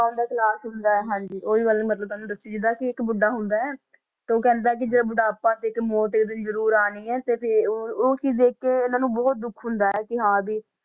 ਆਉਂਦਾ ਇੱਕ ਲਾਸ਼ ਹੁੰਦਾ ਹੈੈ ਹਾਂਜੀ ਉਹੀ ਗੱਲ ਮਤਲਬ ਤੁਹਾਨੂੰ ਦੱਸੀ ਜਿੱਦਾਂ ਕਿ ਇੱਕ ਬੁੱਢਾ ਹੁੰਦਾ ਹੈ ਤੇ ਉਹ ਕਹਿੰਦਾ ਹੈ ਕਿ ਜਿਹੜਾ ਬੁਢਾਪਾ ਤੇ ਇੱਕ ਮੌਤ ਇੱਕ ਦਿਨ ਜ਼ਰੂਰ ਆਉਣੀ ਹੈ ਤੇ ਫਿਰ ਉਹ ਉਹ ਚੀਜ਼ ਦੇਖ ਕੇ ਇਹਨਾਂ ਨੂੰ ਬਹੁਤ ਦੁੱਖ ਹੁੰਦਾ ਹੈ ਕਿ ਹਾਂ ਵੀ